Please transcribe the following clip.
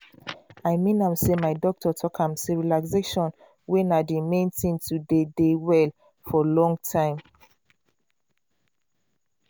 i mean am sey my doctor talk am sey relaxation way na d main thing to dey dey well for long time.